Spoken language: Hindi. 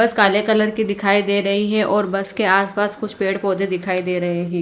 बस काले कलर की दिखाई दे रही है और बस के आसपास कुछ पेड़ पौधे दिखाई दे रहे हैं।